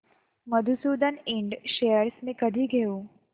Madhusudan Ind shares मी कधी घेऊ